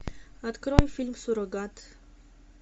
открой фильм суррогат